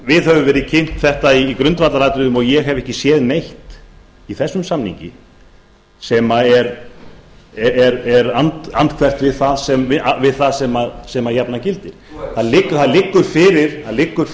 okkur hefur verið kynnt þetta í grundvallaratriðum og ég hef ekki séð neitt í þessum samningi sem er andhverft við það sem jafnan gildir það liggur